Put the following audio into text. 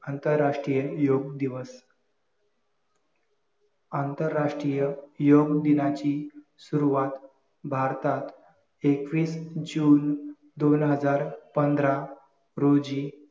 आंतरराष्ट्रीय योग दिवस आंतरराष्ट्रीय योग दिनाची सुरुवात भारतात एकवीस जून दोन हजार पंधरा रोजी